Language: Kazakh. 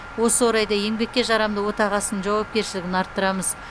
осы орайда еңбекке жарамды отағасының жауапкершілігін арттырамыз